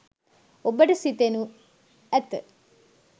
ඔබට සිතෙනු ඇත.